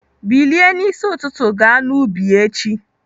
Bilie n'isi ụtụtụ ga n'ubi echi!